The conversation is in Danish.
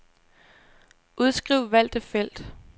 Udskriv valgte felt.